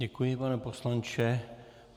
Děkuji, pane poslanče.